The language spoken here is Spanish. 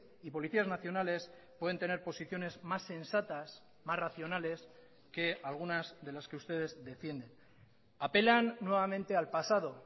y policías nacionales pueden tener posiciones más sensatas más racionales que algunas de las que ustedes defienden apelan nuevamente al pasado